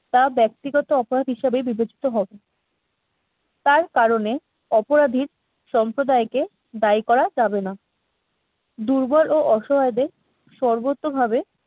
তা ব্যক্তিগত অপরাধ হিসেবে বিবেচিত হবে তার কারণে অপরাধীর সম্প্রদায়কে দায়ী করা যাবে না দুর্বল ও অসহায়দের সর্বতোভাবে